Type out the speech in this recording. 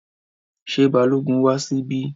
Ṣé Balógun wá síbí?